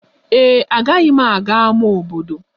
Ee e, agaghị m aga ámá obodo.